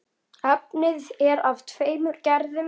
Efnið er af tveimur gerðum.